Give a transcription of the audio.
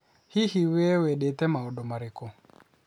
Hihi, wee wendete maũndũ marĩkũ?